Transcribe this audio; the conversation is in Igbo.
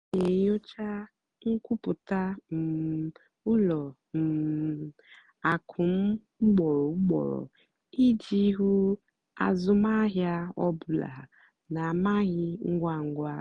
m nà-ènyócha nkwúpụ́tá um ùlọ um àkụ́ m ùgbòrò ùgbòrò ìjì hụ́ àzụ́mahìá ọ́ bụ́là nà-àmàghị́ ngwá ngwá.